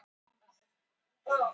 Garðar, hvað er jörðin stór?